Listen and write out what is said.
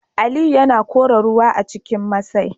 Aliyu yana kora ruwa a cikin masai